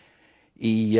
í